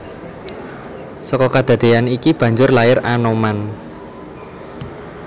Seka kedadeyan iki banjur lair Anoman